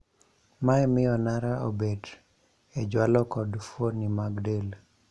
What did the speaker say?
Mae mio nara obed e jwalo kod fuoni mag del